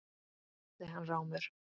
spurði hann rámur.